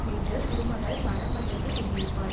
வீட்டில் திருமகள் மனம் மகிழ்ந்து குடி இருப்பாள்